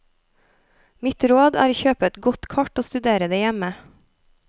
Mitt råd er å kjøpe et godt kart og studere det hjemme.